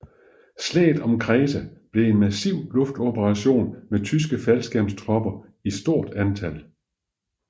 Slaget om Kreta blev en massiv luftoperation med tyske faldskærmstropper i stort antal